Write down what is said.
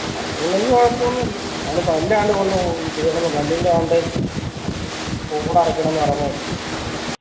ആ പുള്ളിക്ക് കുഴപ്പോന്നുല്ല അവന് പല്ലിന്റെ ആണ്ട് അടയ്ക്കണം എന്ന് പറീന്ന കേട്ടു